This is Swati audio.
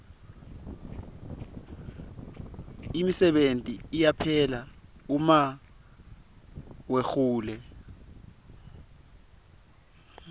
imisebenti iyaphela uma wehule